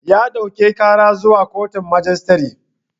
Ya ɗauke karar zuwa koton majistare